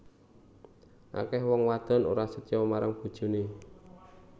Akeh wong wadon ora setya marang bojone